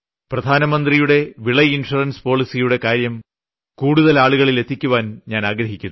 പ്രധാനമന്ത്രിയുടെ വിള ഇൻഷുറൻസ് പോളിസിയുടെ കാര്യം കൂടുതൽ ആളുകളിൽ എത്തിയ്ക്കാൻ ഞാൻ ആഗ്രഹിക്കുന്നു